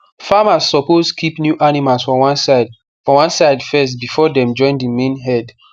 farmers suppose keep new animals for one side for one side first before dem join the main herd